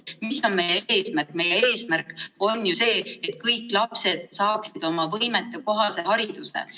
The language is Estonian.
Sest meie eesmärk on ju see, et kõik lapsed saaksid võimetekohase hariduse.